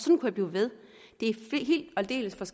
med i